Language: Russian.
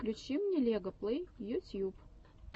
включи мне лега плэй ютьюб